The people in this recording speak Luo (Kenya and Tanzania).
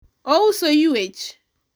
ouso ywech